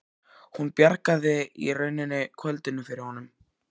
Hún bjargaði í rauninni kvöldinu fyrir honum.